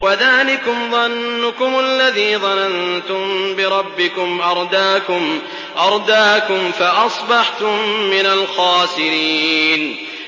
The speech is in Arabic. وَذَٰلِكُمْ ظَنُّكُمُ الَّذِي ظَنَنتُم بِرَبِّكُمْ أَرْدَاكُمْ فَأَصْبَحْتُم مِّنَ الْخَاسِرِينَ